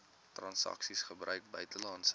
transaksies gebruik buitelandse